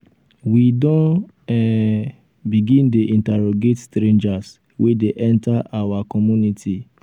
we don um begin dey interrogate strangers wey dey enter our um community.